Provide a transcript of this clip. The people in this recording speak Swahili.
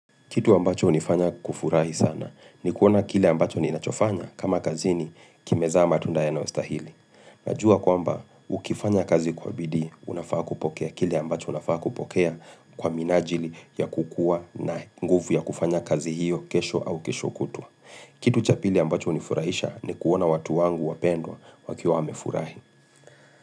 Kitu ambacho hunifanya kufurahi sana ni kuona kile ambacho ninachofanya kama kazini kimezaa matunda yanao stahili. Najua kwamba ukifanya kazi kwa bidii unafaa kupokea kile ambacho unafaa kupokea kwa minajili ya kukua na nguvu ya kufanya kazi hiyo kesho au kesho kutua. Kitu cha pili ambacho hunifurahisha ni kuona watu wangu wapendwa wakiwa wamefurahi.